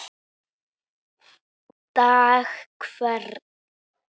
dag hvern